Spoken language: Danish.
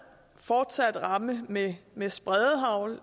fortsat ramme med med spredehagl